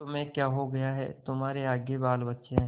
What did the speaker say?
तुम्हें क्या हो गया है तुम्हारे आगे बालबच्चे हैं